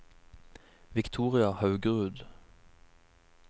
Victoria Haugerud